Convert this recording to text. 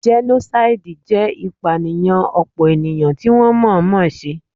Jẹ́nósáìdì jẹ́ ìpànìyàn ọ̀pọ̀ ènìyàn tí wọ́n mọ̀ọ́ mọ̀ se